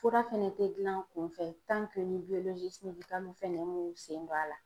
Fura fɛnɛ tɛ gilan kun fɛ ni fɛnɛ m'u sen don a la.